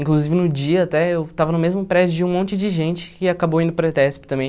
Inclusive, no dia, até, eu estava no mesmo prédio de um monte de gente que acabou indo para ETESP também.